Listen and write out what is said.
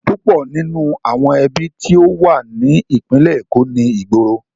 Púpọ̀ nínú àwọn ibi tí ó wà ní ìpínlẹ̀ Èkó ni ìgboro.